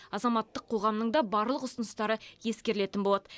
азаматтық қоғамның да барлық ұсыныстары ескерілетін болады